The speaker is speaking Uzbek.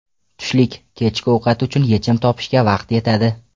Tushlik, kechki ovqat uchun yechim topishga vaqt yetadi.